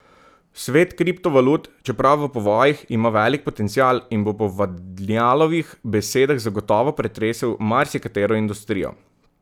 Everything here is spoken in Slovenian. Svet kriptovalut, čeprav v povojih, ima velik potencial in bo po Vadnjalovih besedah zagotovo pretresel marsikatero industrijo.